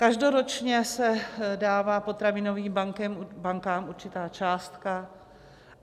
Každoročně se dává potravinovým bankám určitá částka.